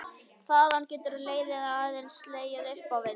Þaðan getur leiðin aðeins legið upp á við.